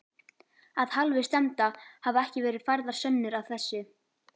Af hálfu stefnda hafa ekki verið færðar sönnur að þessu.